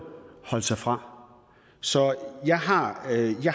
holde sig fra så jeg har